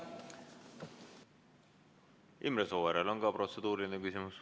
Imre Sooäärel on ka protseduuriline küsimus.